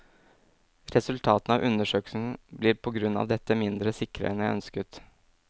Resultatene av undersøkelsen blir på grunn av dette mindre sikre enn jeg ønsket.